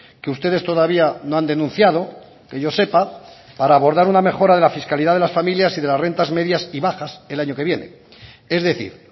que ustedes todavía no han denunciado que yo sepa para abordar una mejora de la fiscalidad de las familias y de las rentas medias y bajas el año que viene es decir